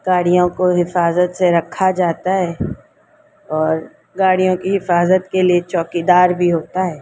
गाड़ियों को हिफाज़त से रखा जाता है और गाड़ियों की हिफाज़त के लिए चौकीदार भी होता है।